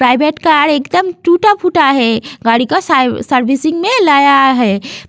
Private car एकदम टूटा-फूटा है गाड़ी का सर्विसिंग मे लाया है।